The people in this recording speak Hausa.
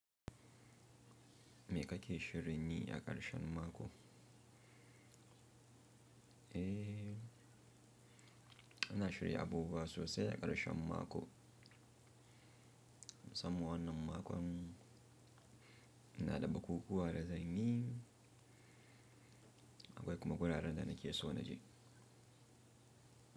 Me kake shirin yi a ƙarshen mako? Eh, ina shirya abubuwa sosai a ƙarshen mako. Musamman wannan makon, ina da bukukuwa da zanyi akwai kuma guraren da nake so na je.